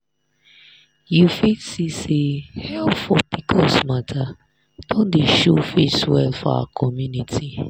you fit see say help for pcos matter don dey show face well for our community.